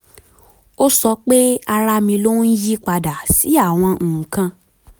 ó sọ pé ara mi ló ń yiípadà sí àwọn nǹkan